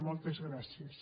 moltes gràcies